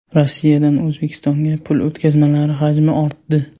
Rossiyadan O‘zbekistonga pul o‘tkazmalari hajmi ortdi.